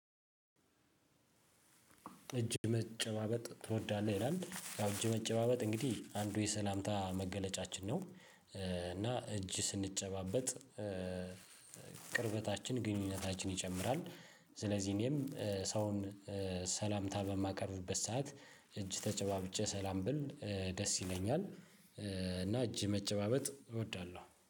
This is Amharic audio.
እጅ መጨባበጥ ትወዳለህ ይላል እጅ መጨባበጥ እንግዲህ አንዱ የሰላምታ መገለጫችን ነው። እና እጅ ስንጨባበጥ ቅርበታችን ግንኙነታችን ይጨምራል። ስለዚህ እኔም ሰውን ሰላምታ በማቀርቡበት ሰዓት እጅ ተጨባብጬ ሰላም ብል ደስ ይለኛል። እና እጅ መጨባበጥ እወዳለሁ